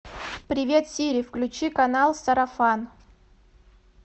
привет сири включи канал сарафан